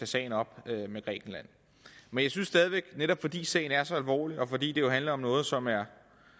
sagen op med grækenland men jeg synes stadig væk netop fordi sagen er så alvorlig og fordi det jo handler om noget som er